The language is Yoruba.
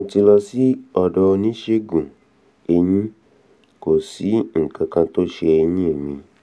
mo ti lọ sí ọ̀dọ̀ oníṣègùn-eyín- kò sí nǹkan kan tó ń se eyín mi